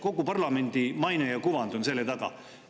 Kogu parlamendi maine ja kuvand on selle taga.